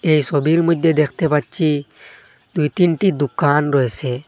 এই সোবির মইধ্যে দেখতে পাচ্ছি দুই তিনটি দুকান রয়েসে ।